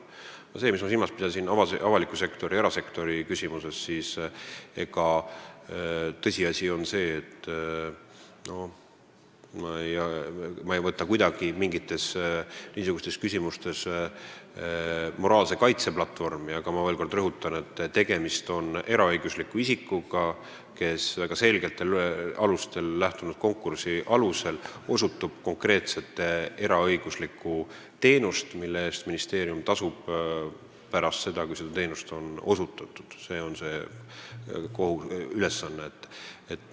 Mis puudutab aga avaliku sektori ja erasektori küsimusi, siis tõsiasi on see, et ma ei võta niisugustes küsimustes mingit moraalse kaitse platvormi, kuid rõhutan veel kord, et tegemist on eraõigusliku isikuga, kes väga selgetel alustel korraldatud konkursi võitjana osutab konkreetset eraõiguslikku teenust, mille eest ministeerium tasub pärast seda, kui see on osutatud.